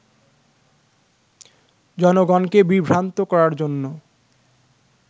জনগণকে বিভ্রান্ত করার জন্য